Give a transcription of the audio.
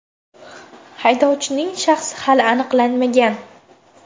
Haydovchining shaxsi hali aniqlanmagan.